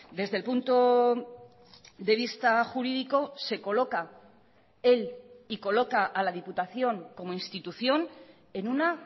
desde el punto de vista jurídico se coloca él y coloca a la diputación como institución en una